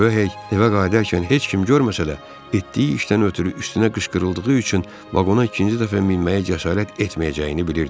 Röh hey evə qayıdarkən heç kim görməsə də, etdiyi işdən ötrü üstünə qışqırıldığı üçün vaqona ikinci dəfə minməyə cəsarət etməyəcəyini bilirdi.